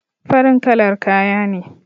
Farin kalar kaya ne